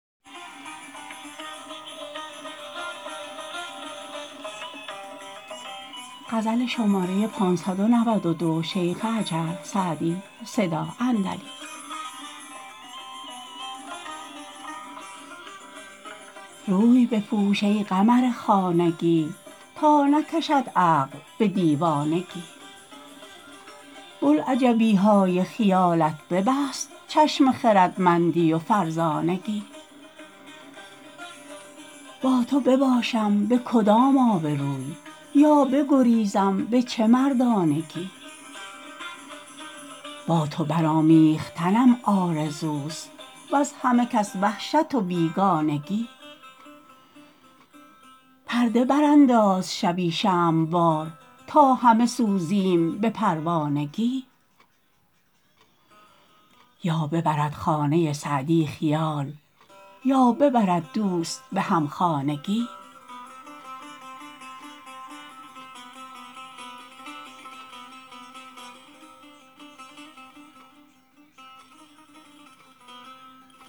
روی بپوش ای قمر خانگی تا نکشد عقل به دیوانگی بلعجبی های خیالت ببست چشم خردمندی و فرزانگی با تو بباشم به کدام آبروی یا بگریزم به چه مردانگی با تو برآمیختنم آرزوست وز همه کس وحشت و بیگانگی پرده برانداز شبی شمع وار تا همه سوزیم به پروانگی یا ببرد خانه سعدی خیال یا ببرد دوست به همخانگی